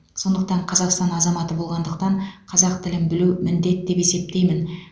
сондықтан қазақстан азаматы болғандықтан қазақ тілін білу міндет деп есептеймін